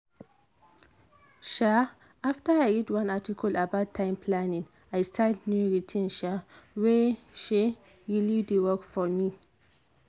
um after i read one article about time planning i start new routine um wey um really dey work for me.